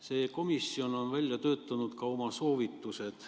See komisjon on välja töötanud ka oma soovitused.